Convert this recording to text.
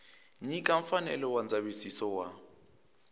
nyika mfanelo ya ndzavisiso wa